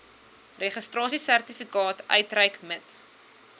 registrasiesertifikaat uitreik mits